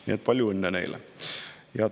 Nii et palju õnne neile!